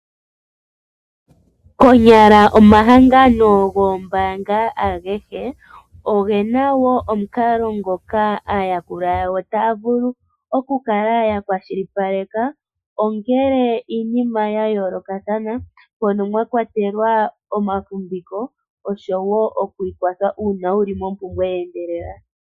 Konyala omahangano goombaanga agehe oge na omukalo ngoka aayakulwa yawo taya vulu okukala ya kwashilipaleka, ongele iinima ya yoolokathana, mono mwa kwatelwa omafumviko oshowo oku ikwathela uuna wu li mompumbwe ye endelela.